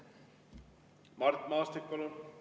Mart Maastik, palun!